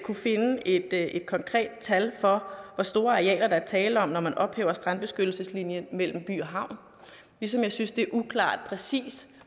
finde et et konkret tal for hvor store arealer der er tale om når man vil ophæver strandbeskyttelseslinjen mellem by og havn ligesom jeg synes det er uklart præcis